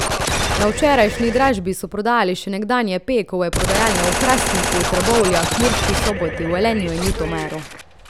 Na včerajšnji dražbi so prodali še nekdanje Pekove prodajalne v Hrastniku, Trbovljah, Murski Soboti, Velenju in v Ljutomeru.